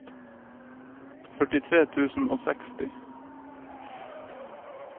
førtitre tusen og seksti